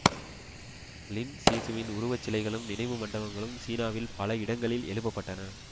லின் சீசுவின் உருவச் சிலைகளும் நினைவு மண்டபங்களும் சீனாவில் பல இடங்களில் எழுப்ப பட்டன